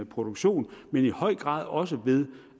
produktion men i høj grad også ved